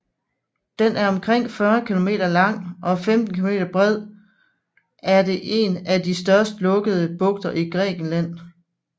Den er omkring 40 km lang og 15 km bred er det en af de største lukkede bugter i Grækenland